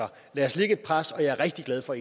lad os lægge et pres jeg er rigtig glad for